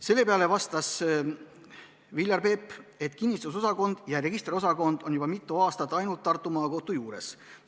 Selle peale vastas Viljar Peep, et kinnistusosakond ja registriosakond on juba mitu aastat ainult Tartu Maakohtu juures.